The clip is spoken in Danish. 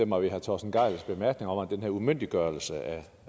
mig ved herre torsten gejls bemærkninger om den her umyndiggørelse